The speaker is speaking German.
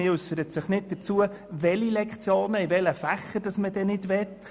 Man äussert sich jedoch nicht dazu, welche Lektionen in welchen Fächern man nicht haben will.